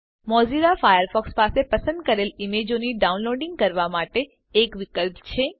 Mozilla Firefox પાસે પસંદ કરેલ ઈમેજોની ડાઉનલોડીંગ રોકવા માટે એક વિકલ્પ છે